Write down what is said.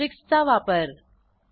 asterisk चा वापर